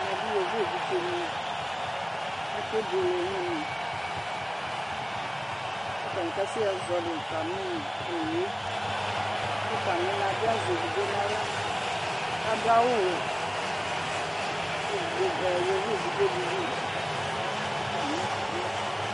Ɛmɛ bɩ yovo vɩɖze nɩ ake buele nɛmɛ Katanɩ kasɛ zɔlɩ tamɩ owue Ku tamɩ na bɩ azɛ eviɖze naɣla ka ɖu awu wɛ Kevɩɖze vɛ yovo evɩɖze ɖɩ bɩ atami ɛtu